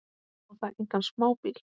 Og það engan smábíl.